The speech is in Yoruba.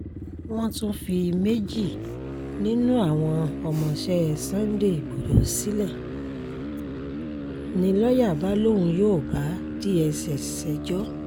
wọ́n tún fi méjì nínú àwọn ọmọọṣẹ́ sunday igbodò sílẹ̀ ni lọ́ọ̀yà bá lóun yóò bá dss ṣẹjọ́